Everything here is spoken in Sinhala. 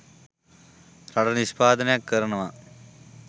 රටට නිෂ්පාදනයක් කරනවා.